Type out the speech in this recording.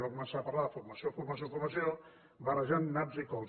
va començar a parlar de formació formació formació barrejant naps i cols